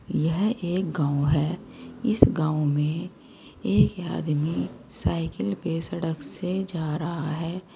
यह एक गांव है इस गांव में एक आदमी साइकिल पे सड़क से जा रहा है।